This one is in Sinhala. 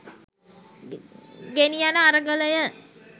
ගෙනි යන අරගලය